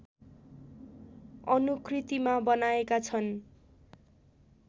अनुकृतिमा बनाएका छन्